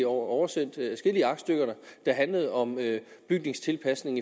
oversendt adskillige aktstykker der handlede om bygningstilpasning